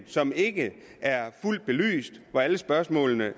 som ikke er fuldt belyst og alle spørgsmålene